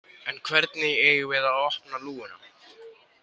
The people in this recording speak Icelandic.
En hvernig eigum við að opna lúguna?